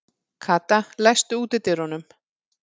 Kata, læstu útidyrunum.